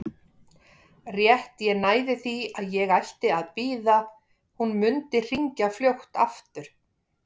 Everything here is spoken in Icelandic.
Rétt ég næði því að ég ætti að bíða, hún mundi hringja fljótt aftur.